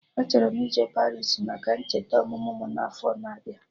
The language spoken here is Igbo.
Achọrọ m ije Paris maka ncheta ọmụmụ mụ n'afọ na abịa